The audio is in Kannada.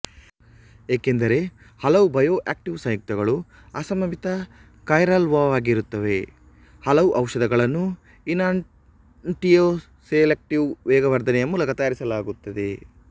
ಏಕೆಂದರೆ ಹಲವು ಬಯೋಆಕ್ಟಿವ್ ಸಂಯುಕ್ತಗಳು ಅಸಮಮಿತ ಕೈರಲ್ವಾಗಿರುತ್ತವೆ ಹಲವು ಔಷಧಗಳನ್ನು ಇನಾನ್ಟಿಯೋಸೆಲೆಕ್ಟೀವ್ ವೇಗವರ್ಧನೆಯ ಮೂಲಕ ತಯಾರಿಸಲಾಗುತ್ತದೆ